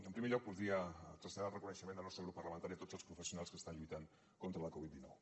en primer lloc voldria traslladar el reconeixement del nostre grup parlamentari a tots els professionals que estan lluitant contra la covid dinou